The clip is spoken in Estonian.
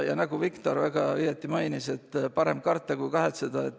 Ja nagu Viktor väga õigesti mainis, parem karta, kui kahetseda.